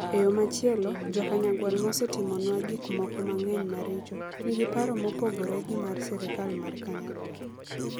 E yo machielo, Jo - Kanyagwal mosetimonwa gik moko mang'eny maricho, nigi paro mopogore gi mar sirkal mar Kanyagwal...